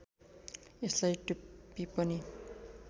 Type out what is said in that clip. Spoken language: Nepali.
यसलाई टुप्पी पनि